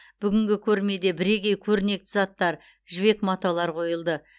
бүгінгі көрмеде бірегей көрнекті заттар жібек маталар қойылды